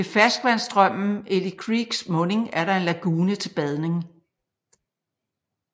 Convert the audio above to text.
Ved ferskvandsstrømmen Eli Creeks munding er der en lagune til badning